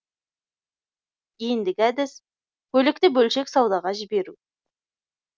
ендігі әдіс көлікті бөлшек саудаға жіберу